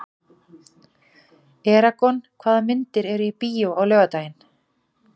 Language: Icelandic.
Eragon, hvaða myndir eru í bíó á laugardaginn?